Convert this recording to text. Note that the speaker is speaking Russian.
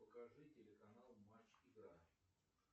покажи телеканал матч игра